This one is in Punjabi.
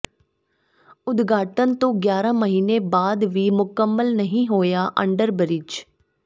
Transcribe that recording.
ਉਦਘਾਟਨ ਤੋਂ ਗਿਆਰਾਂ ਮਹੀਨੇ ਬਾਅਦ ਵੀ ਮੁਕੰਮਲ ਨਹੀਂ ਹੋਇਆ ਅੰਡਰਬਰਿੱਜ